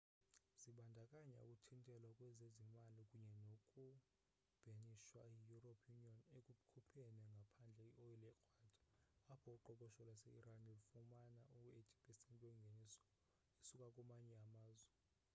zibandakanya ukuthintelwa kwezezimali kunye noku bhenishwa yi-european union ekukhupheni ngaphandle i-oyile ekrwada apho uqoqosho lwaseiran lufumana u-80% wengeniso esuka kumanye amazwe